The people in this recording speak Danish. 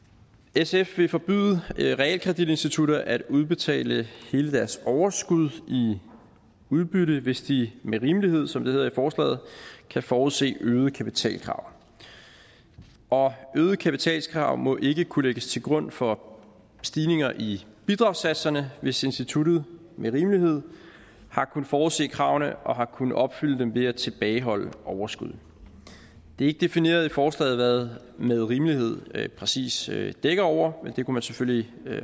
sf vil forbyde realkreditinstitutter at udbetale hele deres overskud i udbytte hvis de med rimelighed som det hedder i forslaget kan forudse øgede kapitalkrav og øgede kapitalkrav må ikke kunne lægges til grund for stigninger i bidragssatserne hvis instituttet med rimelighed har kunnet forudse kravene og har kunnet opfylde dem ved at tilbageholde overskud det er ikke defineret i forslaget hvad med rimelighed præcis dækker over men det kunne man selvfølgelig